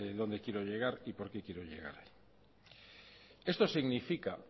dónde quiero llegar y por qué quiero llegar esto significa